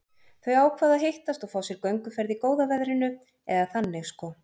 Þau ákváðu að hittast og fá sér gönguferð í góða veðrinu, eða þannig sko.